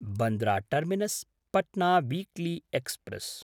Bandra टर्मिनस्–पट्ना weekly express